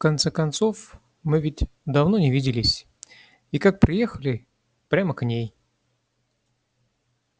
в конце концов мы ведь давно не виделись и как приехали прямо к ней